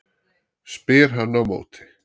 spyr hann á móti.